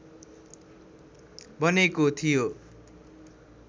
बनेको थियो